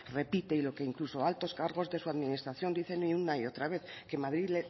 repite y lo que incluso altos cargos de su administración dicen una y otra vez que madrid